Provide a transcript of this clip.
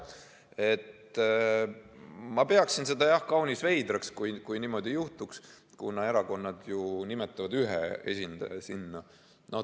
Ma peaksin seda jah, kaunis veidraks, kui niimoodi juhtuks, kuna erakonnad ju nimetavad sinna ühe esindaja.